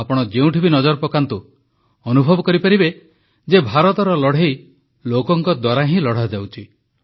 ଆପଣ ଯେଉଁଠି ବି ନଜର ପକାନ୍ତୁ ଆପଣ ଅନୁଭବ କରିପାରିବେ ଯେ ଭାରତର ଲଢ଼େଇ ଲୋକଙ୍କ ଦ୍ୱାରା ହିଁ ଲଢ଼ାଯାଉଛି